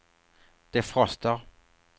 defroster